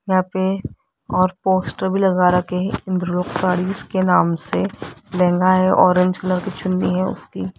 यहां पे और पोस्टर भी लगा रखे हैं इंद्र लोक सारीज के नाम से लहंगा है ऑरेंज कलर चुन्नी है उसकी --